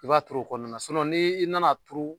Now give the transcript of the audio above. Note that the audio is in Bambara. I b'a turu o kɔnɔna na ni i nan'a turu